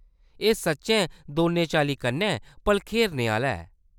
एह्‌‌ सच्चैं दौनें चाल्लीं कन्नै भलखेरने आह्‌‌‌ला ऐ।